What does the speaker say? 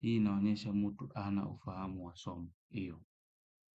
Hii inaonyesha mtu hana ufahamu wa somo hiyo.